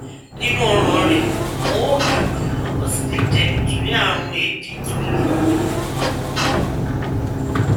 nínú ọràn rẹ wọn ò ga ganan ó sì lè jé nítorí àrùn éèdì tó le